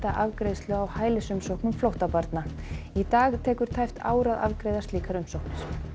afgreiðslu á hælisumsóknum flóttabarna í dag tekur tæpt ár að afgreiða slíkar umsóknir